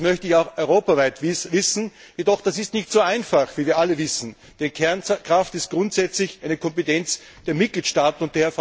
Und das möchte ich auch europaweit sehen. Das ist jedoch nicht so einfach, wie wir alle wissen, denn Kernkraft ist grundsächlich eine Kompetenz der Mitgliedstaaten.